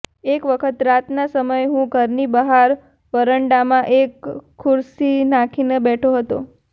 એક વખત રાતના સમયે હું ઘરની બહાર વરંડામાં એક ખુરસી નાખીને બેઠો હતો